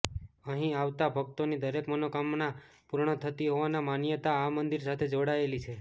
અહીં આવતા ભક્તોની દરેક મનોકામના પૂર્ણ થતી હોવાની માન્યતા આ મંદિર સાથે જોડાયેલી છે